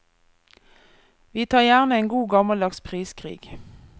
Vi tar gjerne en god, gammeldags priskrig.